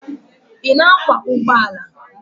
Ị na-akwọ ụgbọala?